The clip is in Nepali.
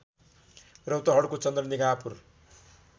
रौतहतको चन्द्रनिगाहपुर